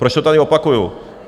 Proč to tady opakuju?